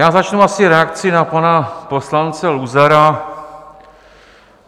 Já začnu asi reakcí na pana poslance Luzara.